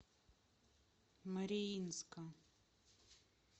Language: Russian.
мариинска